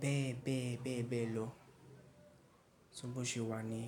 bẹ́ẹ̀ bẹ́ẹ̀ bẹ́ẹ̀ bẹ́ẹ̀ lọ. So bó ṣe wà ni.